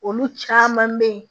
Olu caman bɛ ye